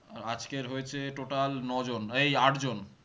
আজকের হয়েছে total ন জন এই আট জন